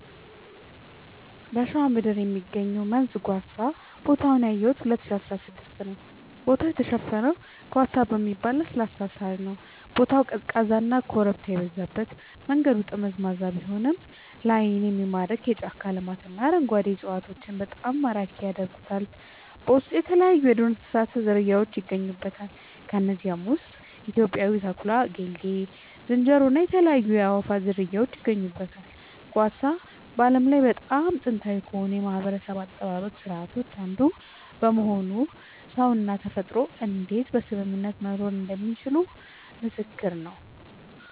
በሸዋ ምድር የሚገኘው መንዝ ጓሳ ቦታውን ያየሁት 2016 ነዉ ቦታው የተሸፈነው ጓሳ በሚባል ለስላሳ ሳር ነዉ ቦታው ቀዝቃዛና ኮረብታ የበዛበት መንገዱ ጠመዝማዛ ቢሆንም ላይን የሚታየው የጫካ ልማትና አረንጓዴ እፅዋቶች በጣም ማራኪ ያደርጉታል በውስጡ የተለያይዩ የዱር እንስሳት ዝርያውች ይገኙበታል ከነዚህም ውስጥ ኢትዮጵያዊው ተኩላ ጌልጌ ዝንጀሮ እና የተለያዩ የአእዋፋት ዝርያወች ይገኙበታል። ጓሳ በዓለም ላይ በጣም ጥንታዊ ከሆኑ የማህበረሰብ አጠባበቅ ስርዓቶች አንዱ በመሆኑ ሰውና ተፈጥሮ እንዴት በስምምነት መኖር እንደሚችሉ ምስክር ነዉ